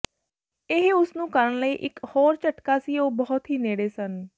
ਇਹ ਉਸ ਨੂੰ ਕਰਨ ਲਈ ਇਕ ਹੋਰ ਝਟਕਾ ਸੀ ਉਹ ਬਹੁਤ ਹੀ ਨੇੜੇ ਸਨ